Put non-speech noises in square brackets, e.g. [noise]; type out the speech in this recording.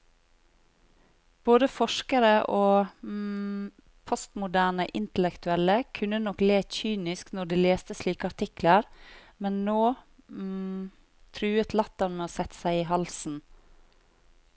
Både forskere og [hesitation] postmoderne intellektuelle kunne nok le kynisk når de leste slike artikler, men nå [hesitation] truet latteren med å sette seg i halsen.